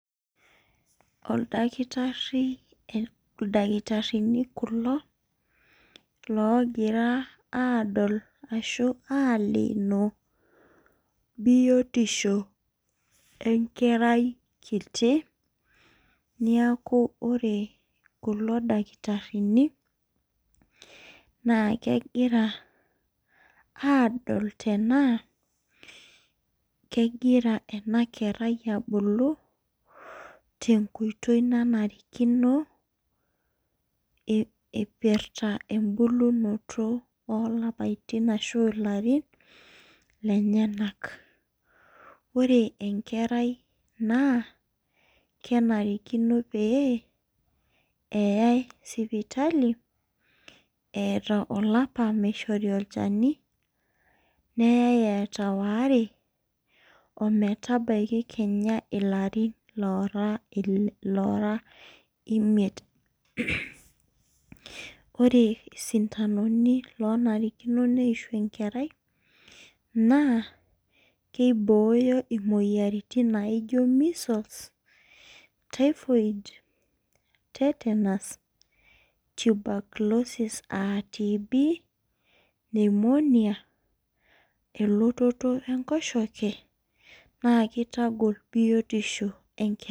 Ildakitarini kulo loogira aadol ashu aleeno biotisho enkerai kinyi. neeku ore kulo dakitarini kegira aadol tenaa, kegira ena kerai abulu tenkoitoi nanarikino. eipirta ebulunoto oolarin lenyenak. ore enkerai naa kenarikino pee eyae sipitali eeta olapa. neyae eeta waare. ometabaiki Kenya ilarin loora imiet. ore sindanoni loonarikino neishu enkarej naa kibooyo imoyiaritin naijo measles typhoid. tetanus tuberculosis aa TB pneumonia. elototo enkoshoke naa kitag biotisho enkerai.